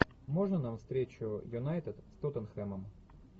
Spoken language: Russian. можно нам встречу юнайтед с тоттенхэмом